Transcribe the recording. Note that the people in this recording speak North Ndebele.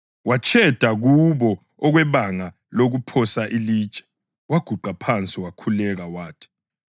Watsheda kubo okwebanga lokuphosa ilitshe, waguqa phansi wakhuleka wathi,